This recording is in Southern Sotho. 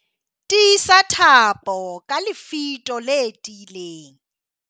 tiisa thapo ka lefito le tiileng